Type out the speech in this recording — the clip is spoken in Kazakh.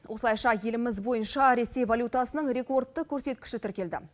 осылайша еліміз бойынша ресей валютасының рекордты көрсеткіші тіркелді